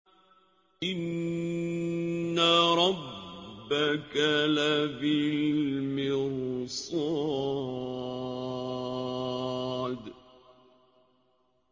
إِنَّ رَبَّكَ لَبِالْمِرْصَادِ